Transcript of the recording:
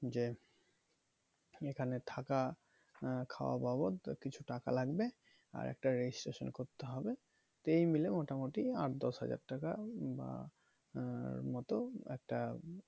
যে এখানে থাকা আহ খাওয়া বাবদ কিছু টাকা লাগবে আর একটা registration করতে হবে তো এই মিলে মোটামুটি আট দশ হাজার টাকা বা আহ র মতো একটা